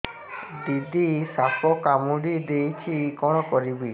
ଦିଦି ସାପ କାମୁଡି ଦେଇଛି କଣ କରିବି